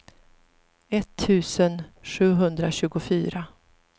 etttusen sjuhundratjugofyra